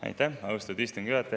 Aitäh, austatud istungi juhataja!